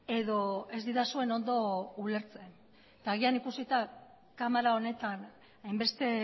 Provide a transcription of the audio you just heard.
edo ez didazuen ondo ulertzen eta agian ikusita kamara honetan hainbeste